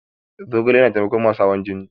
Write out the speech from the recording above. Zogale yana taimakon masu hawan jini.